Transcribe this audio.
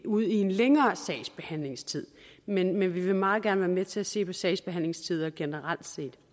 ud i en længere sagsbehandlingstid men vi vil meget gerne være med til at se på sagsbehandlingstider generelt